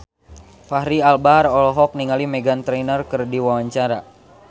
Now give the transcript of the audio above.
Fachri Albar olohok ningali Meghan Trainor keur diwawancara